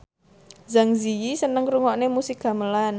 Zang Zi Yi seneng ngrungokne musik gamelan